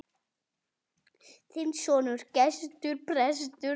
Þinn sonur, Gestur.